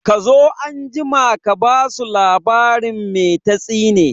Kazo anjima ka basu labarin mai tatsine